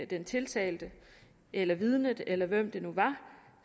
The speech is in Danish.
den tiltalte eller vidnet eller hvem det nu var